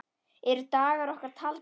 Eru dagar okkar taldir?